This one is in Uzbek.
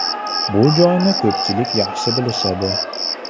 Bu joyni ko‘pchilik yaxshi bilishadi.